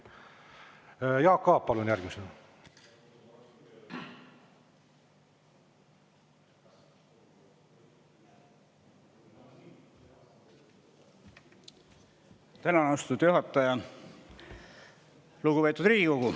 Lugupeetud Riigikogu!